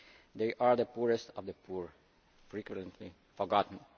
They are the poorest of the poor frequently forgotten.